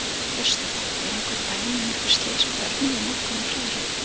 Birta Björnsdóttir: Eru einhver dæmi um einhver slys á börnum við notkun á hreiðrum?